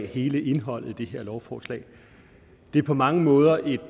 hele indholdet af det her lovforslag det er på mange måder et